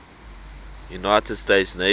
united states navy